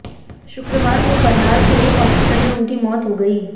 शुक्रवार को करनाल के एक हॉस्पिटल में उनकी मौत हो गई